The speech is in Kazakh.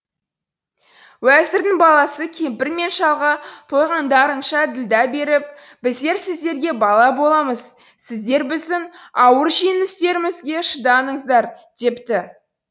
уәзірдің баласы кемпір мен шалға тойғандарынша ділдә беріп біздер сіздерге бала боламыз сіздер біздің ауыр жеңіл істерімізге шыдаңыздар депті